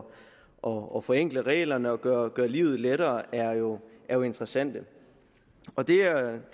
og forenkle reglerne og gøre livet lettere er jo jo interessante og det